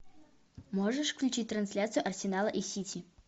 можешь включить трансляцию арсенала и сити